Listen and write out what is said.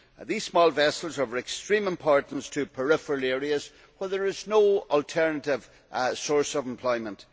These small vessels are of extreme importance to peripheral areas, where there is no alternative source of employment.